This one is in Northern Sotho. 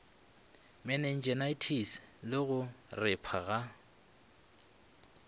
meningitis le go repha ga